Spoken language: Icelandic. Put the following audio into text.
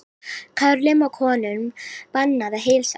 Körlum og konum bannað að heilsast